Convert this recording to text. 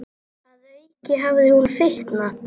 Að auki hafði hún fitnað.